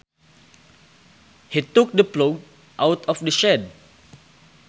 He took the plough out of the shed